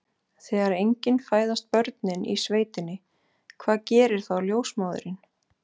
Þegar engin fæðast börnin í sveitinni, hvað gerir þá ljósmóðirin?